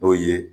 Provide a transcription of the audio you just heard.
N'o ye